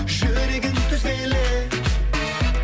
жүрегің түзелер